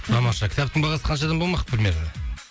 тамаша кітаптың бағасы қаншадан болмақ примерно